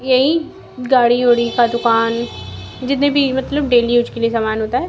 यही गाड़ी उड़ी का दुकान जितने भी मतलब डेली यूज के लिए समान होता है।